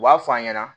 U b'a f'a ɲɛna